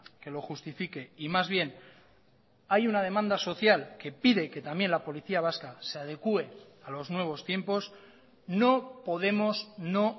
que lo justifique y mas bien hay una demanda social que pide que también la policía vasca se adecue a los nuevos tiempos no podemos no